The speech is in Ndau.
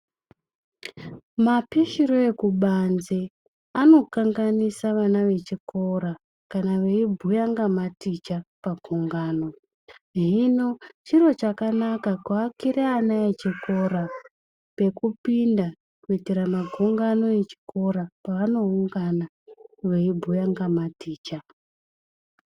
Mapishire ekubanze anokanganisa vana vechikora kana veibhuya ngamaticha pagungano ,hino, chiro chakanaka kuakira ana echikora pekupinda kuitira magungano echikora paanoungana veibhuya ngamaticha.